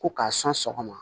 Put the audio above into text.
Ko k'a sɔn sɔgɔma